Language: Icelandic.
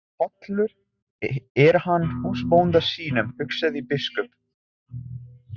Hollur er hann húsbónda sínum, hugsaði biskup.